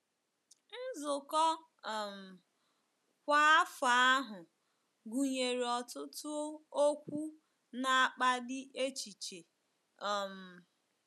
Nzukọ um kwa afọ ahụ gụnyere ọtụtụ okwu na-akpali echiche um.